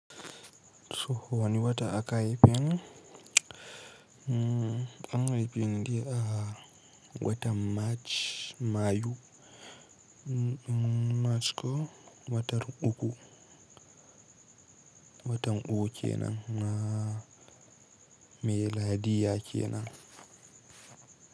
So wani wata aka haife ni, an haife ni a watan Mach Mayu, Mach ko watar uku, watan uku kenan a miladiyya kenan.